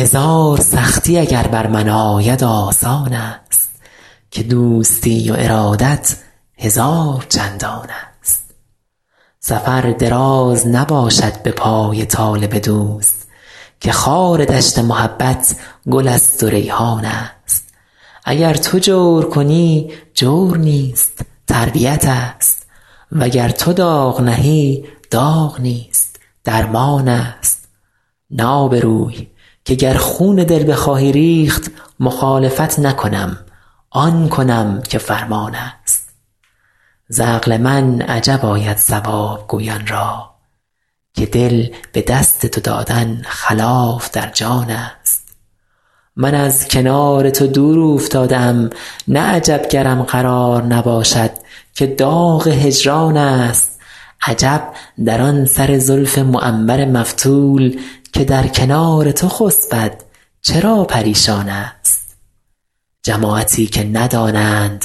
هزار سختی اگر بر من آید آسان است که دوستی و ارادت هزار چندان است سفر دراز نباشد به پای طالب دوست که خار دشت محبت گل است و ریحان است اگر تو جور کنی جور نیست تربیت ست وگر تو داغ نهی داغ نیست درمان است نه آبروی که گر خون دل بخواهی ریخت مخالفت نکنم آن کنم که فرمان است ز عقل من عجب آید صواب گویان را که دل به دست تو دادن خلاف در جان است من از کنار تو دور اوفتاده ام نه عجب گرم قرار نباشد که داغ هجران است عجب در آن سر زلف معنبر مفتول که در کنار تو خسبد چرا پریشان است جماعتی که ندانند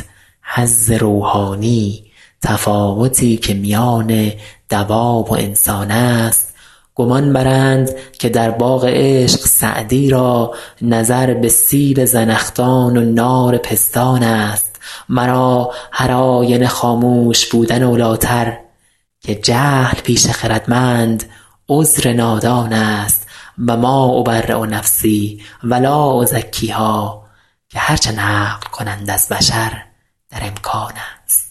حظ روحانی تفاوتی که میان دواب و انسان است گمان برند که در باغ عشق سعدی را نظر به سیب زنخدان و نار پستان است مرا هرآینه خاموش بودن اولی تر که جهل پیش خردمند عذر نادان است و ما أبری نفسی و لا أزکیها که هر چه نقل کنند از بشر در امکان است